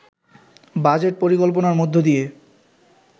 budget পরিকল্পনার মধ্য দিয়ে